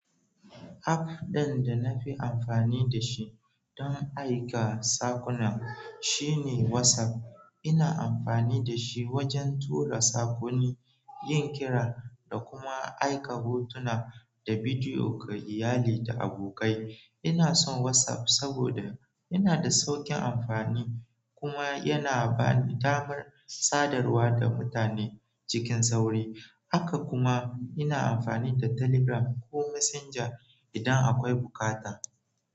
App ɗin da na fi amfani da shi don aika sakuna shine WhatsApp. Ina amfani da shi wajen tura sakonni, yin kira, da kuma aika hotuna da bidiyo ga iyali da abokai. Ina son WhatsApp saboda yana da sauƙin amfani kuma yana ba ni damar sadarwa da mutane cikin sauri. Haka kuma, ina amfani da Telegram ko Messenger idan akwai bukata.